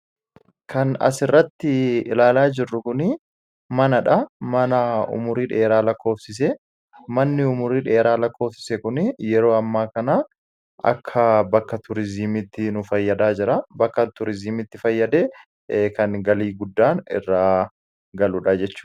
kan as irratti ilaalaa jirru kun mana dha. Mana umurii dheeraa lakkoofsise manni umrii dheeraa lakkoofsise kun yeroo ammaa kana akka bakka turizimii nu fayyadaa jirudha. bakka turizimiitti fayyadee kan galii guddaan irraa galudha jechuudha